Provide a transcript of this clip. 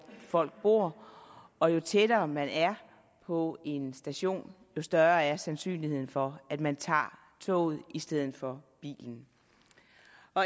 folk bor og jo tættere man er på en station jo større er sandsynligheden for at man tager toget i stedet for bilen